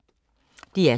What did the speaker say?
DR2